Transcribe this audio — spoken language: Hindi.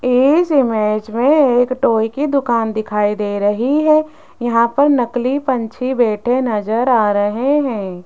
इस इमेज में एक टॉय की दुकान दिखाई दे रही हैं यहां पर नकली पंछी बैठे नजर आ रहें हैं।